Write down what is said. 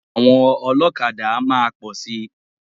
Àwọn ọlọ́kadà máa pọ̀ si.